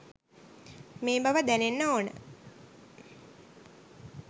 මේ බව දැනෙන්න ඕන.